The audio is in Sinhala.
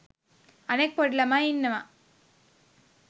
අනිත් පොඩි ළමයි ඉන්නවා